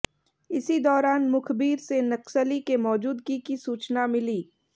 इसी दौरान मुखबिर से नक्सली के मौजूदगी की सूचना मिली